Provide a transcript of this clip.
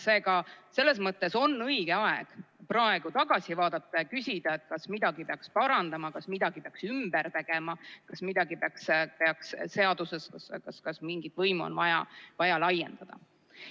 Seega, selles mõttes on õige aeg praegu tagasi vaadata ja küsida, kas midagi peaks parandama, kas midagi peaks ümber tegema, kas mingit võimu on vaja laiendada.